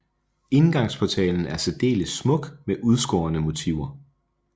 Indgangsportalen er særdeles smuk med udskårne motiver